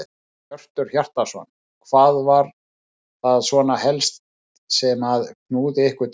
Hjörtur Hjartarson: Hvað var það svona helst sem að knúði ykkur til þess?